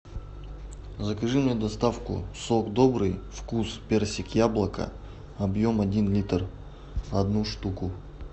закажи мне доставку сок добрый вкус персик яблоко объем один литр одну штуку